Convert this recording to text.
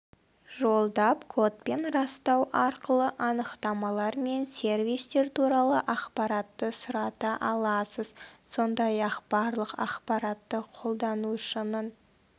жолдап кодпен растау арқылы анықтамалар мен сервистер туралы ақпаратты сұрата аласыз сондай-ақ барлық ақпаратты қолданушының